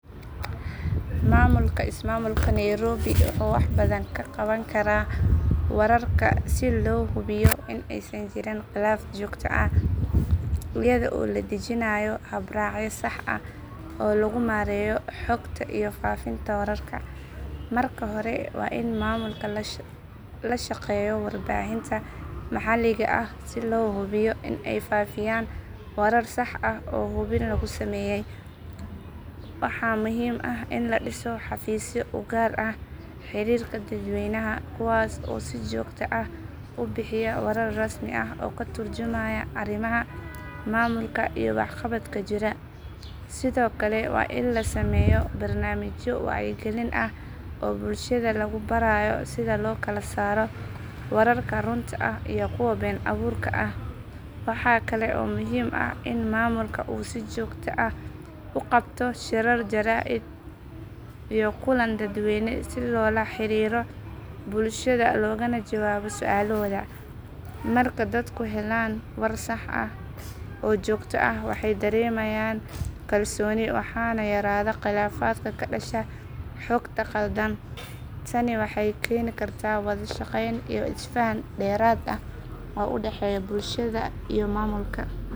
Maamulka ismaamulka nairobi wuxuu wax badan ka qaban karaa wararka si loo hubiyo in aysan jirin khilaaf joogto ah iyada oo la dejinayo habraacyo sax ah oo lagu maareeyo xogta iyo faafinta wararka. Marka hore waa in maamulka la shaqeeyo warbaahinta maxalliga ah si loo hubiyo in ay faafiyaan warar sax ah oo hubin lagu sameeyay. Waxaa muhiim ah in la dhiso xafiisyo u gaar ah xiriirka dadweynaha kuwaas oo si joogto ah u bixiya warar rasmi ah oo ka turjumaya arrimaha maamulka iyo waxqabadka jira. Sidoo kale waa in la sameeyo barnaamijyo wacyigelin ah oo bulshada lagu barayo sida loo kala saaro wararka runta ah iyo kuwa been abuurka ah. Waxaa kale oo muhiim ah in maamulka uu si joogto ah u qabto shirar jaraa’id iyo kulan dadweyne si loola xiriiro bulshada loogana jawaabo su’aalahooda. Marka dadku helaan warar sax ah oo joogto ah waxay dareemayaan kalsooni waxaana yaraada khilaafaadka ka dhasha xogta khaldan. Tani waxay keeni kartaa wada shaqayn iyo isfahan dheeraad ah oo u dhexeeya bulshada iyo maamulka.